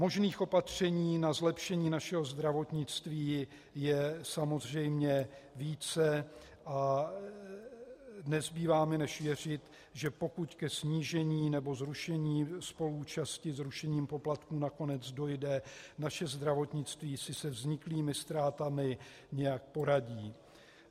Možných opatření na zlepšení našeho zdravotnictví je samozřejmě více, a nezbývá mi než věřit, že pokud ke snížení nebo zrušení spoluúčasti zrušením poplatků nakonec dojde, naše zdravotnictví si se vzniklými ztrátami nějak poradí.